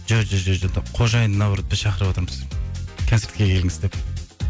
қожайынын наоброт біз шақырыватырмыз концертке келіңіз деп